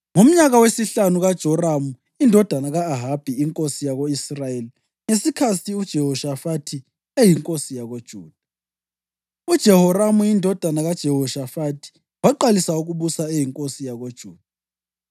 Ngomnyaka wesihlanu kaJoramu indodana ka-Ahabi inkosi yako-Israyeli, ngesikhathi uJehoshafathi eyinkosi yakoJuda, uJehoramu indodana kaJehoshafathi waqalisa ukubusa eyinkosi yakoJuda.